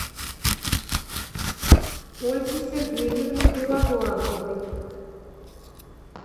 ольги сергеевны белоглазовой